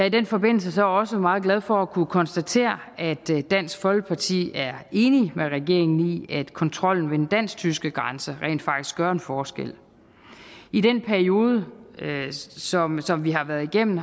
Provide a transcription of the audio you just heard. i den forbindelse så også meget glad for at kunne konstatere at dansk folkeparti er enig med regeringen i at kontrollen ved den dansk tyske grænse rent faktisk gør en forskel i den periode som som vi har været igennem